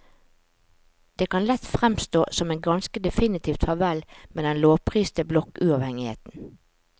Det kan lett fremstå som et ganske definitivt farvel med den lovpriste blokkuavhengigheten.